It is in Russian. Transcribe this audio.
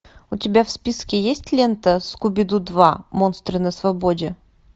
у тебя в списке есть лента скуби ду два монстры на свободе